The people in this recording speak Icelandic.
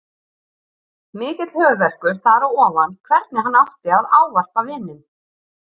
Mikill höfuðverkur þar á ofan hvernig hann átti að ávarpa vininn.